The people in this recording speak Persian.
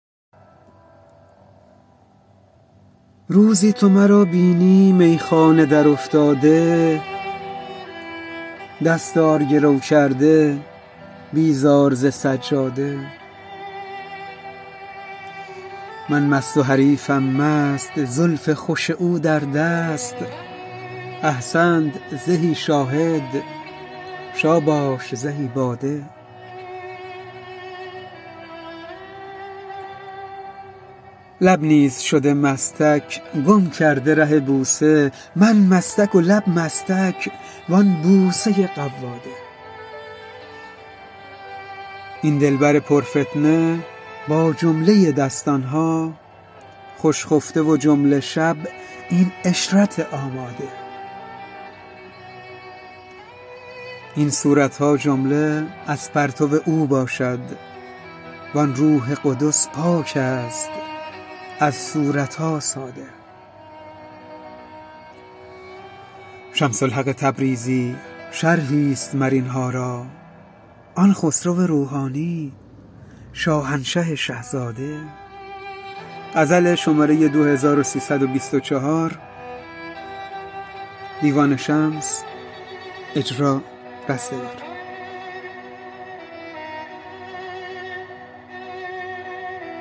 روزی تو مرا بینی میخانه درافتاده دستار گرو کرده بیزار ز سجاده من مست و حریفم مست زلف خوش او در دست احسنت زهی شاهد شاباش زهی باده لب نیز شده مستک گم کرده ره بوسه من مستک و لب مستک و آن بوسه قواده این دلبر پرفتنه با جمله دستان ها خوش خفته و جمله شب این عشرت آماده این صورت ها جمله از پرتو او باشد و آن روح قدس پاک است از صورت ها ساده شمس الحق تبریزی شرحی است مر این ها را آن خسرو روحانی شاهنشه شه زاده